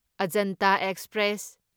Ajanta express